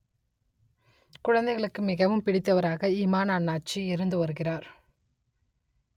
குழந்தைகளுக்கு மிகவும் பிடித்தவராக இமான் அண்ணாச்சி இருந்து வருகிறார்